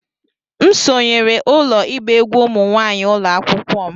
M sonyeere ụlọ ịgba egwú ụmụ nwanyị ụlọ akwụkwọ m